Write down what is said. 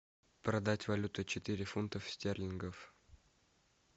продать валюту четыре фунтов стерлингов